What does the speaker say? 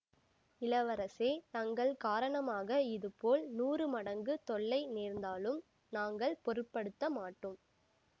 இளவரசே தங்கள் காரணமாக இதுபோல் நூறு மடங்கு தொல்லை நேர்ந்தாலும் நாங்கள் பொருட்படுத்த மாட்டோ ம்